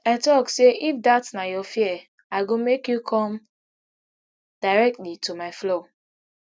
i tok say if dat na your fear i go make you come directly to my floor